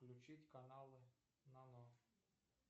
включить каналы нано